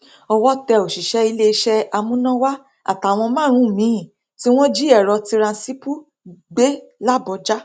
owó tẹ òṣìṣẹ iléeṣẹ amúnáwá àtàwọn márùnún miín tí wọn jí èrò tiransmple gbé làbójà